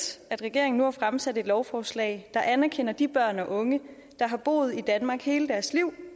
at regeringen nu har fremsat et lovforslag der anerkender de børn og unge der har boet i danmark hele deres liv